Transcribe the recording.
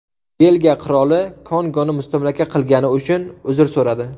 Belgiya qiroli Kongoni mustamlaka qilgani uchun uzr so‘radi.